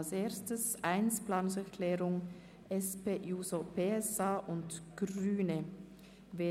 Zuerst stimmen wir über die Planungserklärung 1 der SP-JUSO-PSA-Fraktion und der Grünen ab.